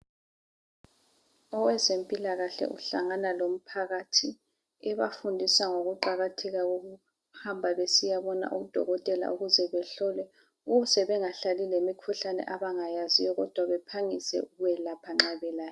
Oweze mpilakahle uhlangana lomphakathi ebafundisa ngokuqakatheka kokuhamba besiyabona odokotela ukuze behlolwe ukuze bengahlali lemikhuhlane abangayaziyo kodwa bephangise ukuyolapha nxa belayo.